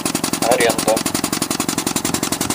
аренда